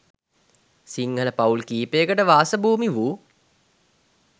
සිංහල පවුල් කීපයකට වාස භූමි වූ